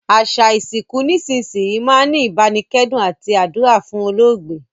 Àsa ìsìnkù nísinsìnyi máa n ni ìbánikẹ́dùn àti àdúrà fún olóògbé